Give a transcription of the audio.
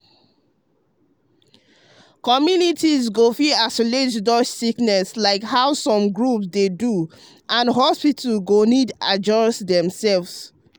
communities go fit isolate to dodge sickness like how some groups dey do and hospitals go need adjust demself.